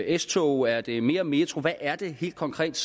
s tog er det mere metro hvad er det helt konkret